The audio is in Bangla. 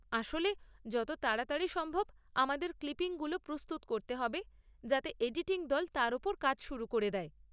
আসলে যত তাড়াতাড়ি সম্ভব আমাদের ক্লিপিংগুলো প্রস্তুত করতে হবে যাতে এডিটিং দল তার ওপর কাজ শুরু করে দেয়।